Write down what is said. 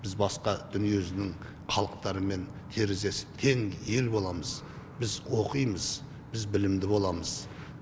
біз басқа дүние жүзінің халықтарымен терезесі тең ел боламыз біз оқимыз біз білімді боламыз